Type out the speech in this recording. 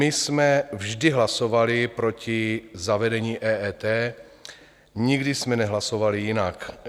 My jsme vždy hlasovali proti zavedení EET, nikdy jsme nehlasovali jinak.